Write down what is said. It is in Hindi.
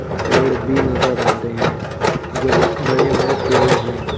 पेड़ भी नजर आ रहे हैं जो बड़े बड़े पेड़ हैं।